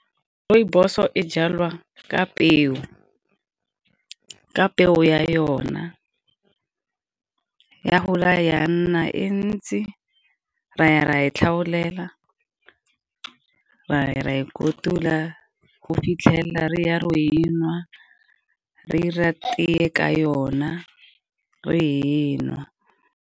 Rooibos-o e jalwa ka peo, ka peo ya yona ya gola ya nna e ntsi. Ra ya ra e tlhagolela, ra ya ra e kotula go fitlhelela re ya ro enwa re 'ira tee ka yona ro enwa.